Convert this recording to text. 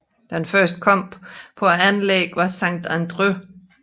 Den første kamp på anlægget var Sant Andreu vs